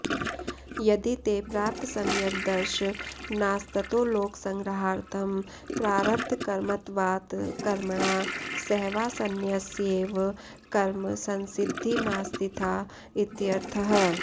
यदि ते प्राप्तसम्यग्दर्शनास्ततोलोकसंग्रहार्थं प्रारब्धकर्मत्वात् कर्मणा सहैवासंन्यस्यैव कर्म संसिद्धिमास्थिता इत्यर्थः